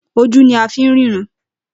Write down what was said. Ojú ni a fi ń ríran